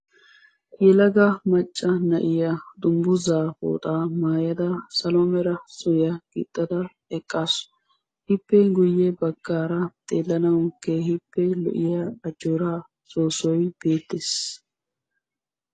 Yelega macca na'iyaa dungguza pooxaa maayyada salo mera suriyaa gixxada eqqasu ; ippe guyye baggara xeellanawu keehippe lo"iyaa ajjoora soossoy beettees.